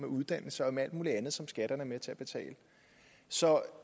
uddannelse og alt muligt andet som skatterne er med til at betale så